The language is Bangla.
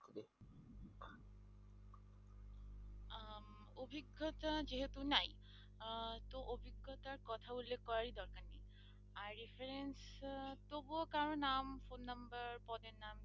অভিজ্ঞতা যেহেতু নাই আহ তো অভিজ্ঞতার কথা উল্লেখ করারই দরকার নেই আর reference তবুও কারো নাম phone number পদের নাম।